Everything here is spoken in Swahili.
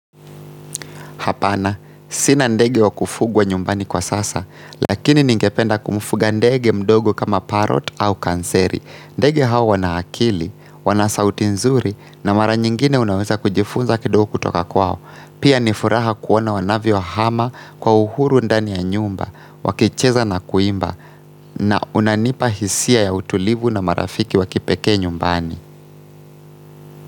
Hapana, sina ndege wa kufugwa nyumbani kwa sasa, lakini ningependa kumufuga ndege mdogo kama parrot au kanseri. Ndege hawa wanaakili, wana sauti nzuri na mara nyingine unaweza kujifunza kidogo kutoka kwao. Pia nifuraha kuona wanavyo hama kwa uhuru ndani ya nyumba, wakicheza na kuimba na unanipa hisia ya utulivu na marafiki wakipekee nyumbani.